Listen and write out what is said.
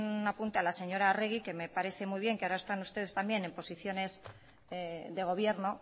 un apunte a la señora arregi que me parece muy bien que ahora están ustedes también en posiciones de gobierno